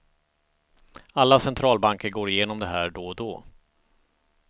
Alla centralbanker går igenom det här då och då.